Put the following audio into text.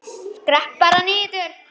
Skrepp bara niður.